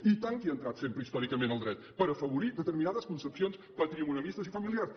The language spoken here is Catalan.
i tant que hi ha entrat sempre històricament el dret per afavorir determinades concepcions patrimonialistes i familiars